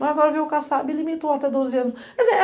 Mas agora veio o caçaba e limitou até doze anos.